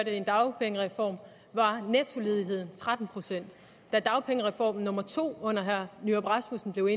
en dagpengereform var nettoledigheden tretten procent da dagpengereform nummer to under nyrup rasmussen blev